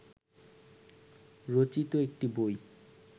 রচিত একটি বই